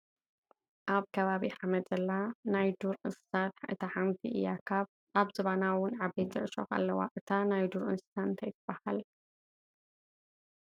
ኣብ ከባቢ ሓመድ ዘላ ናይ ዱር እንሰሳት እታ ሓንቲ እያ ።ኣብ ዝባና እውን ዓበይቲ ዕሾክ አለዋ ። እታ ናይ ዱር እንሰሳ እንታይ ትባሃል?